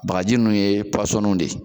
Bagaji ninnu ye puwasɔniw de ye.